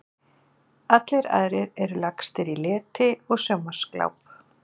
Allir aðrir eru lagstir í leti og sjónvarpsgláp.